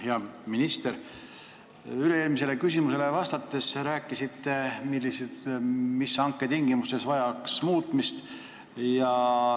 Hea minister, üle-eelmisele küsimusele vastates sa rääkisid, mis vajaks hanke tingimustes muutmist.